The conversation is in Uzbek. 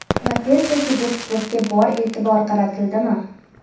Va tezda kibersportga bor e’tibor qaratildimi?